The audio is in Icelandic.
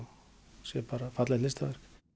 sé bara fallegt listaverk